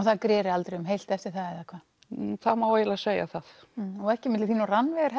það greri aldrei um heilt eftir það eða hvað það má eiginlega segja það og ekki milli þín og Rannveigar